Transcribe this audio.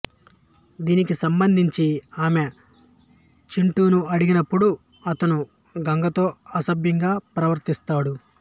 దీనికి సంబంధించి ఆమె చింటూను అడిగినప్పుడు అతను గంగతో అసభ్యంగా ప్రవర్తిస్తాడు